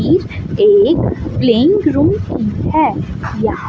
इ एक plain road है यहां--